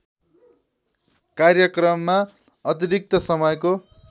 कार्यक्रममा अतिरिक्त समयको